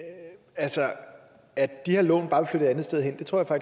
altså at de her lån bare vil flytte et andet sted hen tror